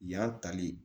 Yan tali